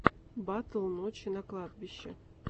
батл ночи на кладбище